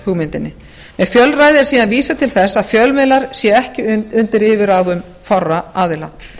lýðræðishugmyndinni með fjölræði er síðan vísað til þess að fjölmiðlar séu ekki undir yfirráðum fárra aðila